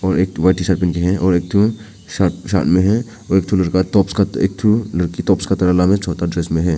और एक ठो वाइट टीशर्ट पहन के है और एक ठो साथ साथ में है और एक ठो लड़का टॉप स्कर्ट एक ठो लड़की टॉप नाम है छोटी ड्रेस में है।